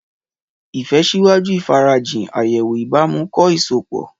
Ìfẹ́ ṣíwájú ìfarajìn, àyẹ̀wò ìbámu, kọ́ ìsopọ̀.